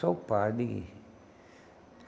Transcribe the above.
Só o padre. E